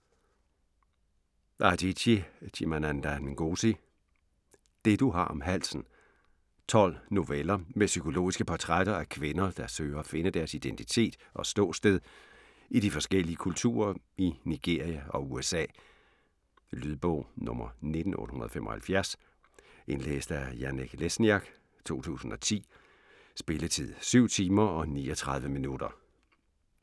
Adichie, Chimamanda Ngozi: Det du har om halsen 12 noveller med psykologiske portrætter af kvinder, der søger at finde deres identitet og ståsted i de forskellige kulturer i Nigeria og USA. Lydbog 19875 Indlæst af Janek Lesniak, 2010. Spilletid: 7 timer, 39 minutter.